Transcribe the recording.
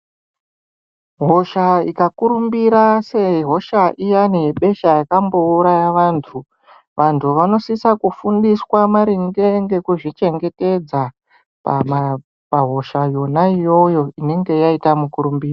Hosha ikakurumbira sehosha iyani yebesha yakambouraya vantu, vantu vanosisa kufundiswa maringe ngekuzvichengetedza pahosha yona iyoyo inenge yaita mukurumbira.